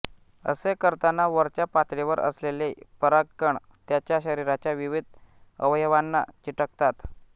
असे करताना वरच्या पातळीवर असलेले परागकण त्याच्या शरीराच्या विविध अवयवांना चिकटतात